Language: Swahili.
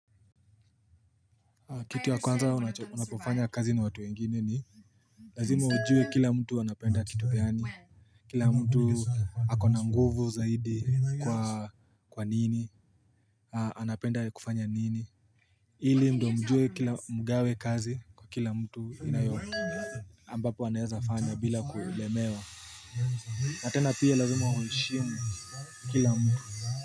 Kitu ya kwanza unapofanya kazi na watu wengine ni Lazima ujue kila mtu anapenda kitu gani Kila mtu akona nguvu zaidi kwa nini anapenda kufanya nini ili ndo mjue kila mgawe kazi kwa kila mtu inayoti ambapo anaeza fanya bila kulemewa na tena pia lazima huheshimu kila mtu.